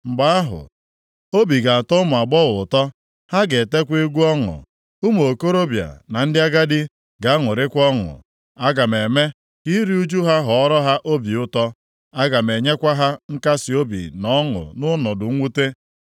Mgbe ahụ, obi ga-atọ ụmụ agbọghọ ụtọ, ha ga-etekwa egwu ọṅụ, ụmụ okorobịa na ndị agadi ga-aṅụrịkwa ọṅụ. Aga m eme ka iru ụjụ ha ghọọrọ ha obi ụtọ, aga m enyekwa ha nkasiobi na ọṅụ nʼọnọdụ mwute.